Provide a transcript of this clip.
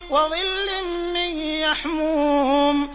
وَظِلٍّ مِّن يَحْمُومٍ